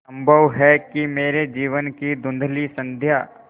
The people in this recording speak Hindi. संभव है कि मेरे जीवन की धँुधली संध्या